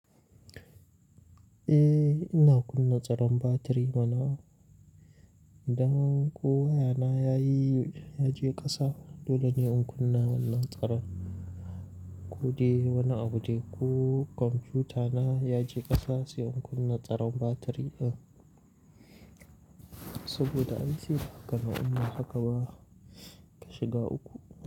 Eh, ina kunna tsaron batiri mana. Idan ko wayana ya yi, ya je ƙasa dole ne in kunna wannan tsaron. Ko dai wani abu dai ko computer na ya je ƙasa sai in kunna tsaron batiri din. Saboda ai saida haka ma inba haka ba ka shiga uku.